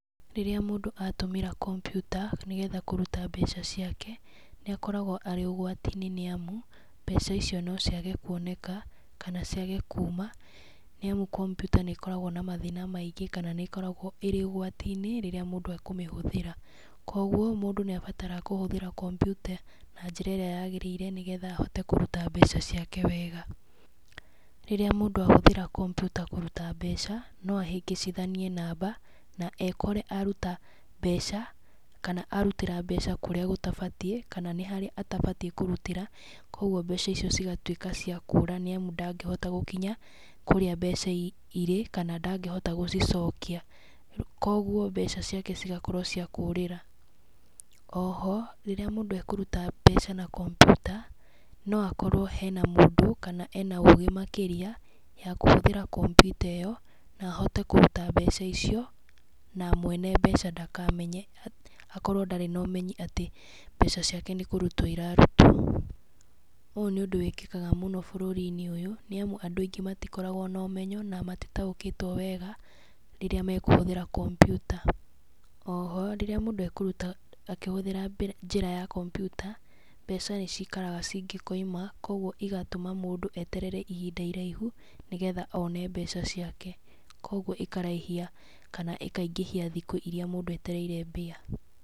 Rĩrĩa mũndũ atũmĩra kompiuta, nĩgetha kũruta mbeca ciake, nĩ akoragwo arĩ ũgwati-inĩ nĩ amu, mbeca icio no ciage kuoneka, kana ciage kuuma. Nĩ amu kompiuta nĩ ĩkoragwo na mathĩna maingĩ, kana nĩ ĩkoragwo ĩrĩ ũgwati-inĩ, rĩrĩa mũndũ akũmĩhũthĩra. Koguo, mũndũ nĩ abataraga kũhũthĩra kompiuta na njĩra ĩrĩa yagĩrĩire, nĩgetha ahote kũruta mbeca ciake wega. Rĩrĩa mũndũ ahũthĩra kompiuta kũruta mbeca, no ahĩngĩcithaniĩ namba, na ekore aruta mbeca, kana arutĩra mbeca kũrĩa gũtabatiĩ, kana nĩ harĩ atabatiĩ kũrutĩra. Kũguo mbeca icio cigatuĩka cia kũũra, nĩ amu ndangĩhota gũkinya, kũrĩa mbeca irĩ, kana ndangĩhota gũcicokia. Koguo, mbeca ciake cigakorwo cia kũũrĩra. Oho, rĩrĩamũndũ ekũruta mbeca na kompiuta, no akorwo hena mũndũ, kana ena ũũgĩ makĩria, ya kũhũthĩra kompiuta ĩyo, na ahote kũruta mbeca icio, na mwene mbeca ndakamenye, hakorwo ndarĩ na ũmenyi atĩ mbeca ciake nĩ kũrutwo irarutwo. Ũũ nĩ ũndũ wĩkĩkaga mũno bũrũri-inĩ ũyũ, nĩ amu andũ aingĩ matikoragwo na ũmenyo, na matitaũkĩtwo wega, rĩrĩa mekũhũthĩra kompiuta. Oho, rĩrĩa mũndũ ekũruta akĩhũthĩra njĩra ya kompiuta, mbeca nĩ cikaraga cingĩkoima, kũguo igatũma mũndũ eterere ihinda iraihu, nĩgetha one mbeca ciake. Koguo ikaraihia kana ĩkaingĩhia thikũ irĩa mũndũ etereire mbia.